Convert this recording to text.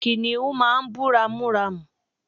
kìnìhún máà ń bú ramúramù